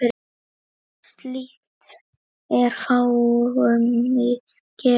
Slíkt er fáum gefið.